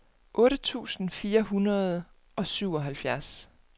otte tusind fire hundrede og syvoghalvfjerds